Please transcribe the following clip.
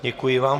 Děkuji vám.